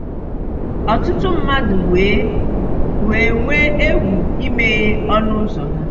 Ọtụtụ mmadụ wee wee nwee egwu imeghe ọnụ ụzọ ha.